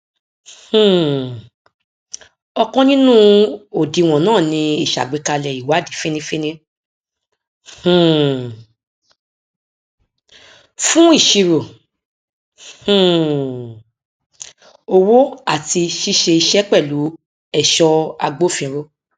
um ọkan nínú òdiwọn náà ni ìsàgbékalẹ ìwádìí fínífíní um fún ìṣirò um owó àti ṣíṣe iṣẹ pẹlú èso agbòfinró